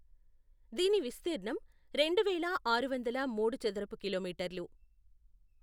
దీని విస్తీర్ణం రెండువేల ఆరు వందల మూడు చదరపు కిలోమీటర్లు.